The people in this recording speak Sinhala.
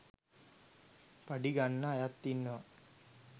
පඩි ගන්න අයත් ඉන්නවා